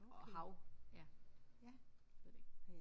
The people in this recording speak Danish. Og hav ja. Ved det ikke